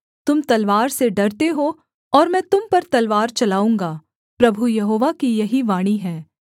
तुम तलवार से डरते हो और मैं तुम पर तलवार चलाऊँगा प्रभु यहोवा की यही वाणी है